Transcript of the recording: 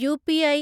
UPI